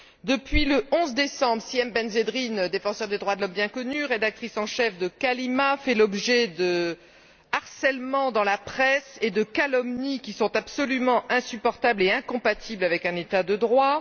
Depuis le 11 décembre, Sihem Bensedrine défenseur des droits de l'homme bien connue, rédactrice en chef de Kalima, fait l'objet de harcèlements dans la presse et de calomnies qui sont absolument insupportables et incompatibles avec un État de droit.